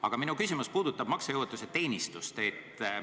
Aga minu küsimus puudutab maksejõuetuse teenistust.